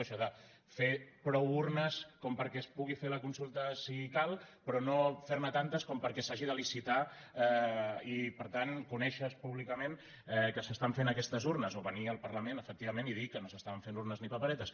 això de fer prou urnes perquè es pugui fer la consulta si cal però no fer ne tantes perquè s’hagi de licitar i per tant conèixer se públicament que s’estan fent aquestes urnes o venir al parlament efectivament i dir que no s’estaven fent urnes ni paperetes